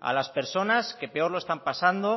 a las personas que peor lo están pasando